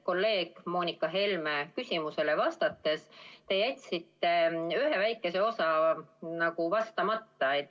Kolleeg Moonika Helme küsimusele vastates te jätsite ühe väikese osa vastamata.